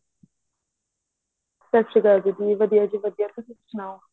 ਸਤਿ ਸ਼੍ਰੀ ਅਕਾਲ ਦੀਦੀ ਵਧੀਆ ਜੀ ਵਧੀਆ ਤੁਸੀਂ ਸੁਨਾਹੋ